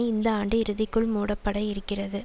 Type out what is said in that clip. இந்த ஆண்டு இறுதிக்குள் மூடப்பட இருக்கிறது